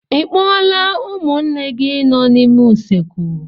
Ị kpọọla ụmụnne gị nọ n'ime usekwu?